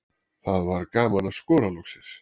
Það var gaman að skora loksins.